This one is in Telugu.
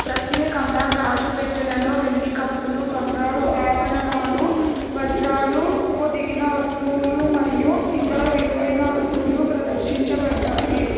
ప్రత్యేకంగా గాజు పెట్టెలలో వెండి కప్పులు బంగారు ఆభరణాలు వజ్రాలు పొదిగిన వస్తువులు మరియు ఇతర విలువైన వస్తువులు ప్రదర్శించబడ్డాయి.